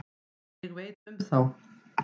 Ég veit um þá.